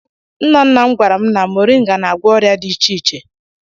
Nna nna m gwara m na mọrịnga na-agwọ ọrịa dị iche iche.